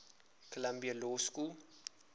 columbia law school